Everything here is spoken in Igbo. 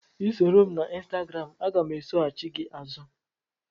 Ị soro m na Ịnstagram, aga m esoghachị gị azụ